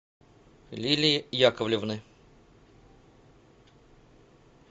лилии яковлевны